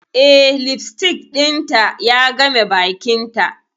Eh, lipstick dinta ya game bakinta.